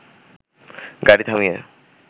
গাড়ি থামিয়ে